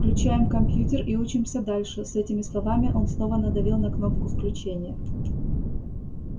включаем компьютер и учимся дальше с этими словами он снова надавил на кнопку включения